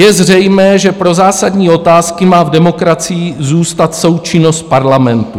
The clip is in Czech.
Je zřejmé, že pro zásadní otázky má v demokracii zůstat součinnost parlamentu.